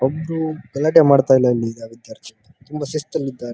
ಒಬ್ಬರು ಗಲಾಟೆ ಮಾಡ್ತಾ ಇಲ್ಲ ಇಲ್ಲಿ ಈಗ ವಿದ್ಯಾರ್ಥಿಗಳು ತುಂಬಾ ಶಿಸ್ತಲ್ಲಿ ಇದ್ದಾರೆ.